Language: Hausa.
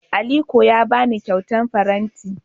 Aliko ya ba ni kyautar faranti.